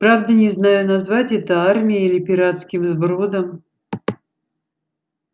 правда не знаю назвать это армией или пиратским сбродом